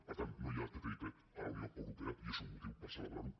per tant no hi ha ttip a la unió europea i és un motiu per celebrar ho